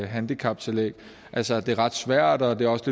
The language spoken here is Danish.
handicaptillæg altså at det er ret svært og at det også